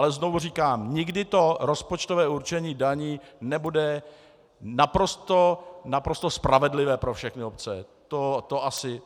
Ale znovu říkám, nikdy to rozpočtové určení daní nebude naprosto spravedlivé pro všechny obce.